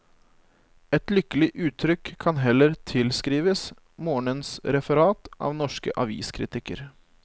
Et lykkelig uttrykk kan heller tilskrives morgenens referat av norske aviskritikker.